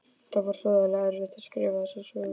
Það var hroðalega erfitt að skrifa þessa sögu.